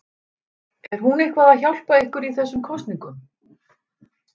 Er hún eitthvað að hjálpa ykkur í þessum kosningum?